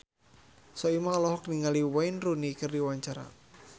Soimah olohok ningali Wayne Rooney keur diwawancara